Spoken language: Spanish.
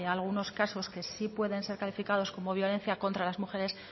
algunos casos que sí pueden ser calificados como violencia contra las mujeres